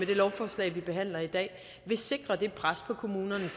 det lovforslag vi behandler i dag vil sikre det pres på kommunerne